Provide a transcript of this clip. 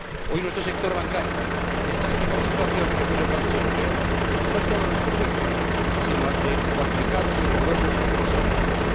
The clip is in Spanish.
Hoy nuestro sector bancario está en mejor situación que muchos bancos europeos, no solo a nuestro juicio, sino también a juicio de cualificados y rigurosos observadores.